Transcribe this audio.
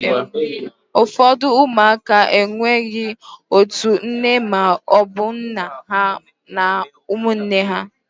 ụfọdụ ụmụaka enweghị otu nne ma ọ bụ nna ha na ụmụnne ha